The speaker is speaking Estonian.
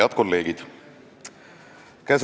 Head kolleegid!